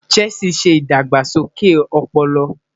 Chess ṣe idagbasoke ọpọlọ